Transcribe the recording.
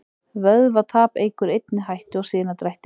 Vökvatap eykur einnig hættu á sinadrætti.